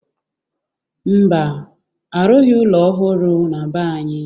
Mba, arụghị ụlọ ohụrụ na be anyị.